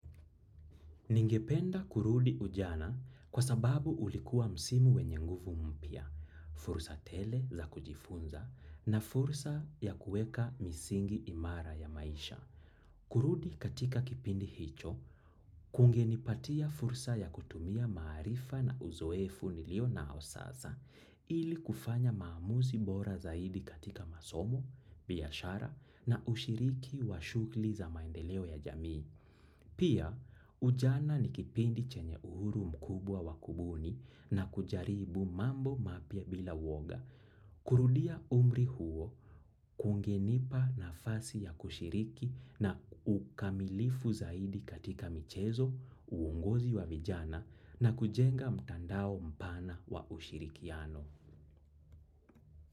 Ningependa kurudi ujana kwa sababu ulikuwa msimu wenye nguvu mpya, fursa tele za kujifunza na fursa ya kueka misingi imara ya maisha. Kurudi katika kipindi hicho, kungenipatia fursa ya kutumia maarifa na uzoefu nilio nao sasa ili kufanya maamuzi bora zaidi katika masomo, biashara na ushiriki wa shugli za maendeleo ya jamii. Pia, ujana ni kipindi chenye uhuru mkubwa wa kubuni na kujaribu mambo mapya bila uoga. Kurudia umri huo, kungenipa nafasi ya kushiriki na ukamilifu zaidi katika michezo, uongozi wa vijana na kujenga mtandao mpana wa ushirikiano.